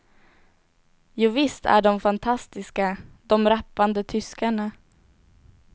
Jovisst är de fantastiska, de rappande tyskarna.